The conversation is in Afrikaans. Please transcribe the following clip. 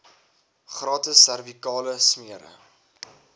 gratis servikale smere